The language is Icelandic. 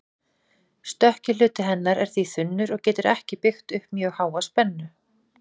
Stökki hluti hennar er því þunnur og getur ekki byggt upp mjög háa spennu.